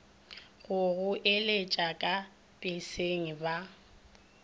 go goeletša ka peseng ba